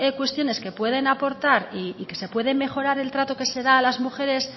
cuestiones que pueden aportar y que se pueden mejorar el trato que se da a las mujeres